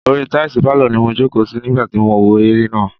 Orí i táìsì pálọ̀ ni mo jòkó sí nígbà tí mò ń wo eré náà.